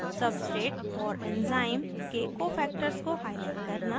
* substrate और enzyme के cofactors को highlight करना